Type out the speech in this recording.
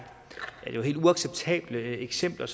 jo helt uacceptable eksempler